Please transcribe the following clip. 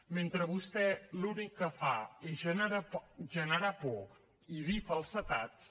mentre vostè l’únic que fa és generar por i dir falsedats